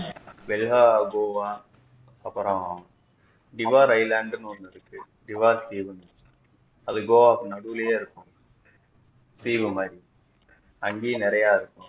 கோவா அப்பொரம் river island ன்னு ஒன்னு இருக்கு river seen அது கோவாக்கு நடுவுளேயெ இருக்கும் தீவு மாறி அங்கையும் நிறைய